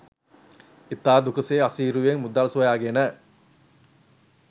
ඉතා දුකසේ අසීරුවෙන් මුදල් සොයාගෙන